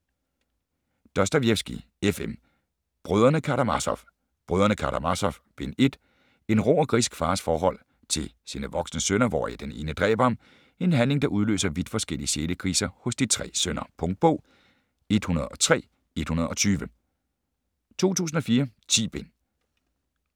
Dostojevskij, F. M.: Brødrene Karamazov: Brødrene Karamazov - Bind 1 En rå og grisk fars forhold til sine voksne sønner hvoraf den ene dræber ham - en handling der udløser vidt forskellige sjælekriser hos de tre sønner. Punktbog 103120 2004. 10 bind.